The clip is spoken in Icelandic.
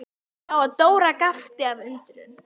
Hún sá að Dóra gapti af undrun.